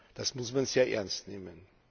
Das muss man sehr ernst nehmen.